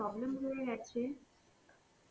problem হয়ে গ্যেছে.